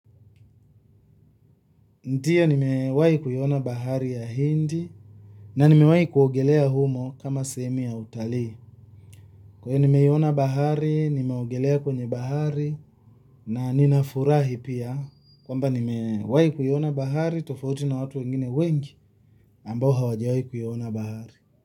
Ndiyo nimewahi kuiona bahari ya hindi na nimewahi kuogelea humo kama sehemu ya utalii. Kwa hiyo nimeona, nimeogelea kwenye bahari na ninafurahi pia. Kwamba nimewahi kuiona bahari, tofauti na watu wengine wengi ambao hawajawahi kuiona bahari.